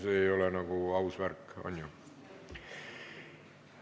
See ei ole nagu aus värk, on ju.